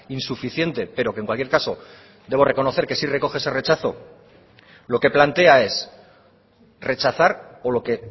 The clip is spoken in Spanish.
insuficiente pero que en cualquier caso debo reconocer que sí recoge ese rechazo lo que plantea es rechazar o lo que